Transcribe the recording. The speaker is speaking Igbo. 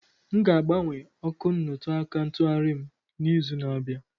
M ga-agbanwe ọkụ nnutuaka ntughari m n'izu na-abịa.